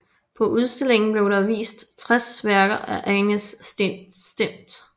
På udstillingen blev der vist 60 værker af Agnes Smidt